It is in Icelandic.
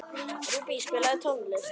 Rúbý, spilaðu tónlist.